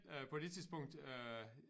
Øh på det tidspunkt øh